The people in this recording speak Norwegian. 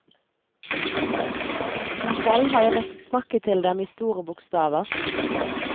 Selv har jeg måttet snakke til dem i store bokstaver.